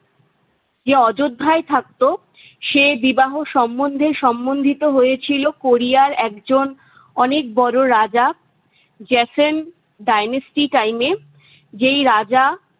যে অযোদ্ধায় থাকতো সে বিবাহ সমন্ধে সম্মন্ধিত হয়েছিল কোরিয়ার একজন অনেক বড় রাজা জেসন ডাইনেস্টিকাইনে। যেই রাজা-